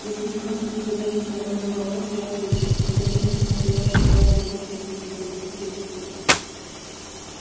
если вы хотите задать мне законный вопрос я отвечу он повернулся к стоявшему рядом полицейскому проведите его сюда